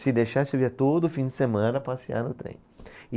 Se deixasse, eu ia todo fim de semana passear no trem. E